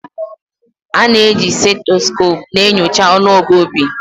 A na-eji stethoscope na-enyocha ọnụọgụ obi